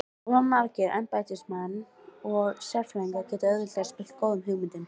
Of margir embættismenn og sérfræðingar geta auðveldlega spillt góðum hugmyndum.